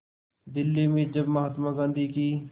दिल्ली में जब महात्मा गांधी की